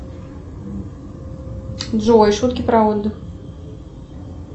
джой шутки про отдых